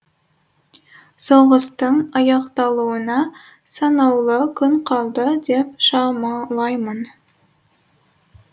соғыстың аяқталуына санаулы күн қалды деп шамалаймын